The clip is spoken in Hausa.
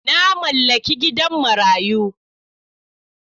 Na mallaki gidan marayu.